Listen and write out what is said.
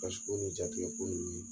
ko ni jatikɛ ko ninnu